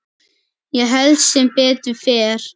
Ég held sem betur fer.